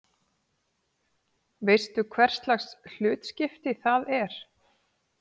Veistu hverslags hlutskipti það er?